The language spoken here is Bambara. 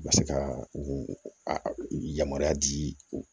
U ka se ka u u yamaruya di u ma